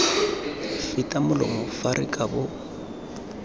feta molomo fa re kabo